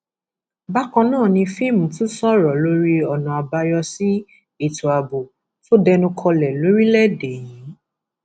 bákan náà ni fímí tún sọrọ lórí ọnà àbáyọ sí ètò ààbò tó dẹnu kọlẹ lórílẹèdè yìí